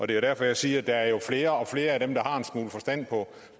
det er derfor jeg siger at der er flere og flere af dem der har en smule forstand